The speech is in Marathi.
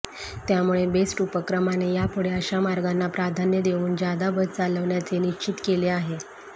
त्यामुळे बेस्ट उपक्रमाने यापुढे अशा मार्गांना प्राधान्य देऊन जादा बस चालवण्याचे निश्चित केले आहे